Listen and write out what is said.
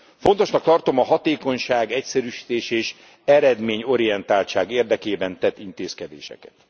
Fontosnak tartom a hatékonyság, egyszerűsítés és eredményorientáltság érdekében tett intézkedéseket.